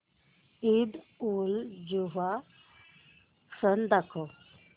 ईदउलजुहा सण दाखव